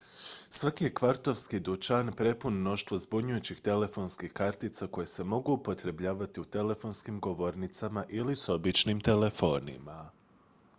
svaki je kvartovski dućan prepun mnoštva zbunjujućih telefonskih kartica koje se mogu upotrebljavati u telefonskim govornicama ili s običnim telefonima